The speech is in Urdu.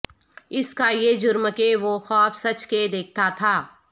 اس کا یہ جرم کہ وہ خواب سچ کے دیکھتا تھا